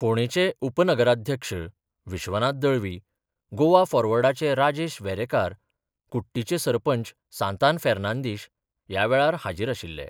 फोंडेंचे उपनगराध्यक्ष विश्वनाथ दळवी, गोवा फॉरवर्डाचे राजेश वेरेंकार, कुट्टीचे सरपंच सांतान फेर्नांदीश ह्या वेळार हाजीर आशिल्ले.